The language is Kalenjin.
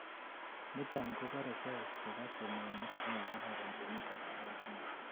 niton kobore cells chebo temenik chemokororon chemiten kowek ingung